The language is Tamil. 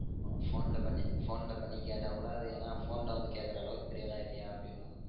உன் phone ல பண்ணி phone ல பண்ணி கேட்டா கூட ஏதனா phone ல வந்து கேக்குற அளவுக்கு பெரிய ஆளா ஆயிட்டையாஹ் அப்டினுவாங்க